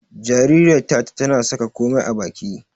Jaririyar Tata tana saka komai a baki.